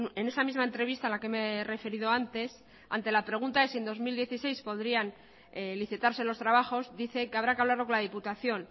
en esa misma entrevista a la que me he referido antes ante la pregunta de si en dos mil dieciséis podrían licitarse los trabajos dice que habrá que hablarlo con la diputación